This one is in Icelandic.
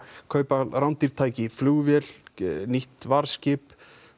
kaupa rándýr tæki flugvél nýtt varðskip